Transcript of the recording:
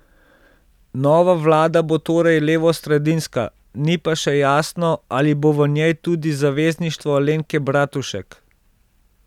Nova vlada bo torej levosredinska, ni pa še jasno, ali bo v njej tudi Zavezništvo Alenke Bratušek.